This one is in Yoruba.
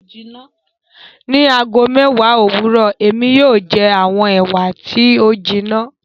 Ní ago mẹ́èwá owurọ, èmi yóò jẹ awọn Ewa ti o jinna